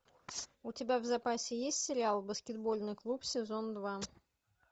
у тебя в запасе есть сериал баскетбольный клуб сезон два